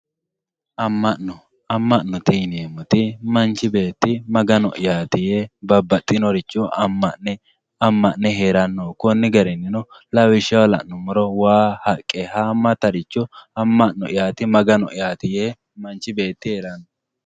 Ama`no ama`note yineemoti manchi beeti mganoyati yee ama`ne heeranoho koni garinino lawishshaho lanumoro waa haqqe haamatiricho ama`noyati maganoyati yee herano.